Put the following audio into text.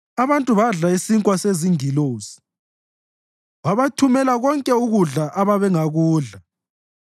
Abantu badla isinkwa sezingilosi; wabathumela konke ukudla ababengakudla.